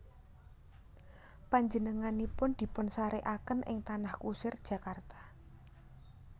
Panjenenganipun dipunsarèkaken ing Tanah Kusir Jakarta